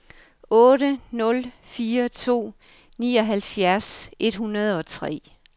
otte nul fire to nioghalvfjerds et hundrede og tre